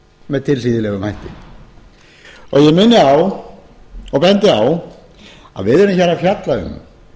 með tilhlýðilegum hætti ég minni á og bendi á að við erum hér að fjalla um